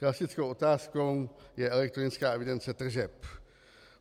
Klasickou otázkou je elektronická evidence tržeb.